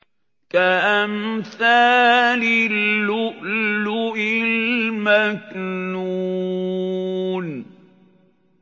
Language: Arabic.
كَأَمْثَالِ اللُّؤْلُؤِ الْمَكْنُونِ